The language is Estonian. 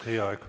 Teie aeg!